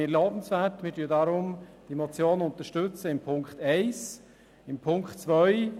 Dies erachten wir als lobenswert und unterstützen deswegen die Motion im Punkt 1.